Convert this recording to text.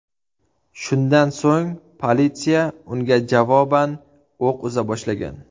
Shundan so‘ng politsiya unga javoban o‘q uza boshlagan.